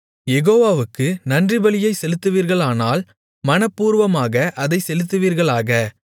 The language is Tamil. யெகோவாவுக்கு நன்றிபலியைச் செலுத்துவீர்களானால் மனப்பூர்வமாக அதைச் செலுத்துவீர்களாக